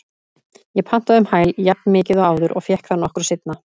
Ég pantaði um hæl jafnmikið og áður og fékk það nokkru seinna.